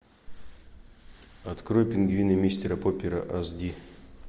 открой пингвины мистера поппера аш ди